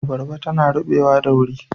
Abarba tana rubewa da wuri.